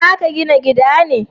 Za ka gina gida ne?